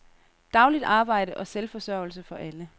Dagligt arbejde og selvforsørgelse for alle.